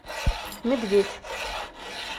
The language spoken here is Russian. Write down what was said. медведь